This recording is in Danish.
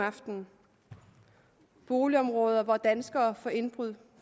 aftenen boligområder hvor danskere får begået indbrud